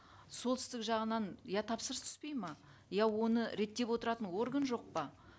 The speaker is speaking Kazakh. солтүстік жағынан я тапсырыс түспейді ме я оны реттеп отыратын орган жоқ па